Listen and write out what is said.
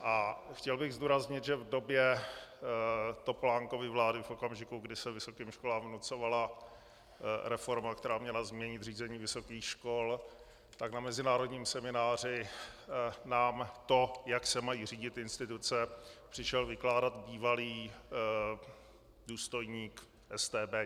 A chtěl bych zdůraznit, že v době Topolánkovy vlády v okamžiku, kdy se vysokým školám vnucovala reforma, která měla změnit řízení vysokých škol, tak na mezinárodním semináři nám to, jak se mají řídit instituce, přišel vykládat bývalý důstojník StB.